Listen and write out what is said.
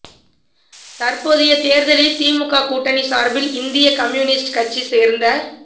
தற்போதைய தேர்தலில் திமுக கூட்டணி சார்பில் இந்திய கம்யூனிஸ்ட் கட்சி சேர்ந்த